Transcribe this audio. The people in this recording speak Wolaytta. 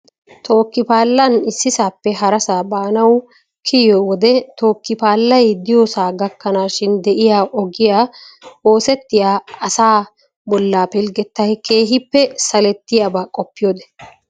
Tookki paallan issisappe harassa baanaw kiyyiyo wode tookki paallay diyoosa gakkanashin de'iyaa ogiyaa oosetiyaa asaa bolla pilggetay keehippe salertiyaaba qopiyoode.